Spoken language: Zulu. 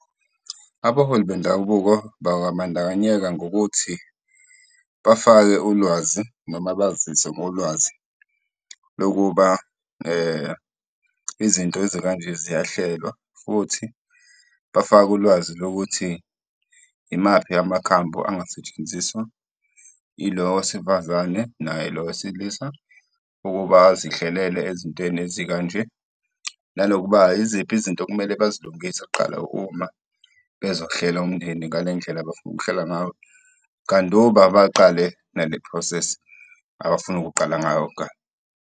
Abaholi bendabuko bangabandakanyeka ngokuthi bafake ulwazi noma bazise ngolwazi lokuba izinto ezikanje ziyahlelwa futhi bafake ulwazi lokuthi imaphi amakhambi angasetshenziswa yilo wesifazane naye lo wesilisa, ukuba azihlelele ezintweni ezikanje. Nanokuba yiziphi izinto okumele bazilungise kuqala uma bezokuhlela umndeni ngale ndlela abafuna ukuhlela qanduba baqale ngale process abafuna ukuqala ngayo.